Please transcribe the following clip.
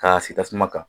K'a sigi tasuma kan